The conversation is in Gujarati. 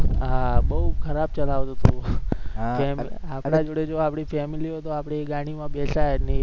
હા બહુ ખરાબ ચલાવતો હતો આપણા જોડે જો આપણી family હોય તો આપણે એ ગાડી મા બેસાય જ નહી